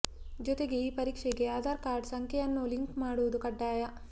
ಜೊತೆಗೆ ಈ ಪರೀಕ್ಷೆಗೆ ಆಧಾರ್ ಕಾರ್ಡ್ ಸಂಖ್ಯೆಯನ್ನೂ ಲಿಂಕ್ ಮಾಡುವುದು ಕಡ್ಡಾಯ